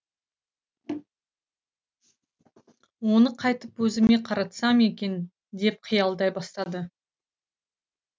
оны қайтіп өзіме қаратсам екен деп қиялдай бастады